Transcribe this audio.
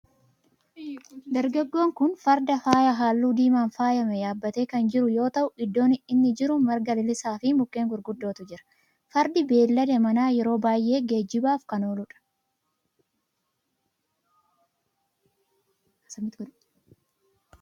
Dargaggoon kun farda faaya halluu diimaan faayame yaabbatee kan jiru yoo ta'u iddoo inni jiru marga lalisaa fi mukkeen gurgudootu jira. Fardi beellada manaa yeroo baayyee geejjibaaf kan oolu dha.